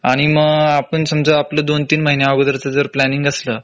आणि मग आपण समजा आपलं दोन तीन महिन्या अगोदरच जर प्लांनिंग असलं